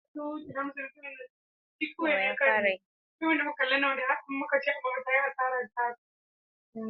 Fina-finan kade-kade sun burge ’yan kallo da wake-wake da raye-raye, wanda hakan ya sa suka rika buga kafa.